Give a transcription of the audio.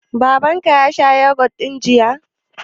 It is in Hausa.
Baban ka ya saya yogut ɗin jiya?